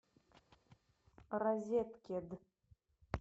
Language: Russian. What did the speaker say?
розеткед